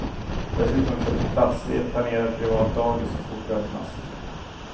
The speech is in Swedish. Dessutom köps platser i ett planerat privat dagis så fort det öppnas.